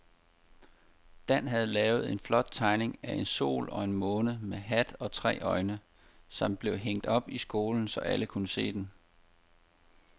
Dan havde lavet en flot tegning af en sol og en måne med hat og tre øjne, som blev hængt op i skolen, så alle kunne se den.